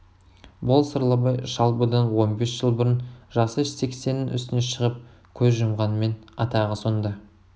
бұл сырлыбай шал бұдан он бес жыл бұрын жасы сексеннің үстіне шығып көз жұмғанмен атағы сонда